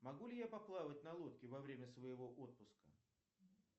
могу ли я поплавать на лодке во время своего отпуска